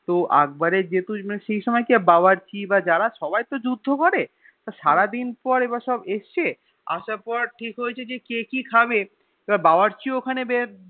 তো একবারের যেহেতু সেই সময় কি হয়ে বাবর্চি বা যারা সবাই তো যুদ্ধ করে তা সারাদিন পর এরপর সব এসেছে আসার পর ঠিক হয়েছে যে কে কি খাবে তো এবার বাবর্চি ও খানে যে